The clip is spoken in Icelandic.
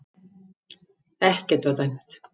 Ekkert var dæmt